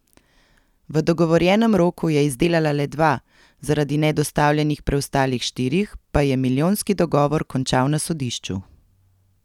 V dogovorjenem roku je izdelala le dva, zaradi nedostavljenih preostalih štirih pa je milijonski dogovor končal na sodišču.